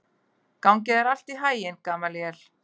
Gangi þér allt í haginn, Gamalíel.